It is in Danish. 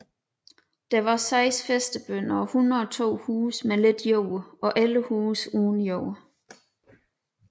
Der var seks fæstebønder og 102 huse med lidt jord og 11 huse uden jord